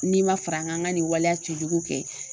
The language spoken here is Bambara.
N'i ma far'an ŋa an ŋa nin waleya cɛjugu kɛ